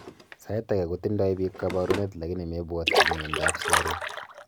sait age kotindoi piik kaparunet lakini mepuatyin miando ap sugaruk